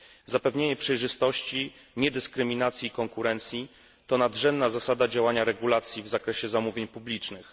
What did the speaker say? Zapewnienie przejrzystości, niedyskryminacji i konkurencji to nadrzędna zasada działania regulacji w zakresie zamówień publicznych.